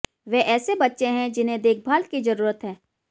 वे ऐसे बच्चे हैं जिन्हें देखभाल की जरूरत है